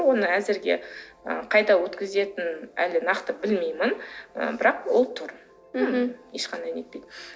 оны әзірге ы қайда өткізетінін әлі нақты білмеймін ы бірақ ол тұр мхм ешқандай нетпейді